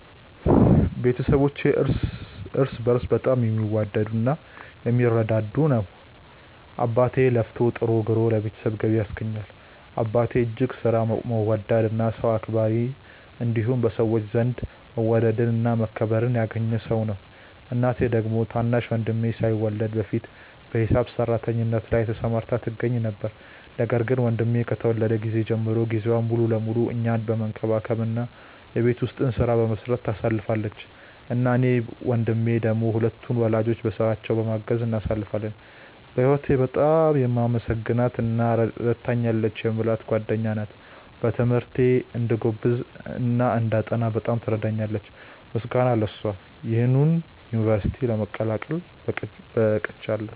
ቤተሰባችን እርስ በእርስ በጣም የሚዋደድ እና የሚረዳዳ ነው። አባቴ ለፍቶ ጥሮ ግሮ ለቤተሰቡ ገቢ ያስገኛል። አባቴ እጅግ ሥራ ወዳድ እና ሰው አክባሪ እንዲሁም በሰዎች ዘንድ መወደድን እና መከበርን ያገኘ ሰው ነው። እናቴ ደግሞ ታናሽ ወንድሜ ሳይወለድ በፊት በሂሳብ ሰራተኝነት ላይ ተሰማርታ ትገኛ ነበር፤ ነገር ግን ወንድሜ ከተወለደ ጊዜ ጀምሮ ጊዜዋን ሙሉ ለሙሉ እኛን መንከባከብ እና የቤት ውስጡን ሥራ በመስራት ታሳልፋለች። እኔ እና ወንድሜ ደሞ ሁለቱን ወላጆቻችንን በሥራቸው በማገዝ እናሳልፋለን። በህወቴ በጣም የማመሰግናት እና ረድታኛለች የምላት ጓደኛዬ ናት። በትምህርቴ እንድጎብዝ እና እንዳጠና በጣም ትረዳኛለች። ምስጋና ለሷ ይሁንና ዩንቨርስቲ ለመቀላቀል በቅቻለው።